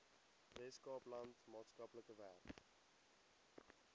weskaapland maatskaplike werk